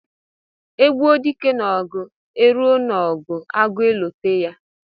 E gbuo dike n'ogu, e ruo n'ogu agueloteya.